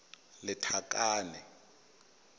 lethakane